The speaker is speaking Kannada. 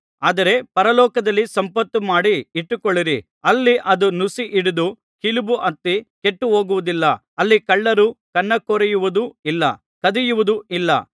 ಆದರೆ ಪರಲೋಕದಲ್ಲಿ ಸಂಪತ್ತು ಮಾಡಿ ಇಟ್ಟುಕೊಳ್ಳಿರಿ ಅಲ್ಲಿ ಅದು ನುಸಿ ಹಿಡಿದು ಕಿಲುಬು ಹತ್ತಿ ಕೆಟ್ಟುಹೋಗುವುದಿಲ್ಲ ಅಲ್ಲಿ ಕಳ್ಳರು ಕನ್ನಾಕೊರೆಯುವುದೂ ಇಲ್ಲ ಕದಿಯುವುದೂ ಇಲ್ಲ